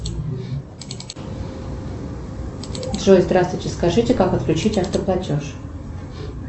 джой здравствуйте скажите как отключить автоплатеж